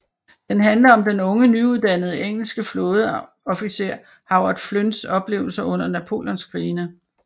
Den handler om den unge nyuddannede engelske flådeofficer Howard Flynns oplevelser under napoleonskrigene